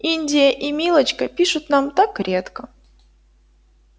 индия и милочка пишут нам так редко